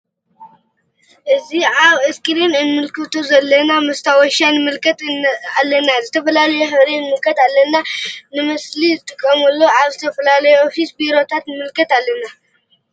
እዚ አብ እስክሪን እንምልከቶ ዘለና መስታወሻ ንምልከት አለና ዝተፈላለዩ ሕብሪ ንምልከት አለና ን መፅሐፊ ንመስእሊ ንጥቀመሉ አብ ዝተፈላለዩ ኦፊስ ቤሮታት ንምልከት አለና::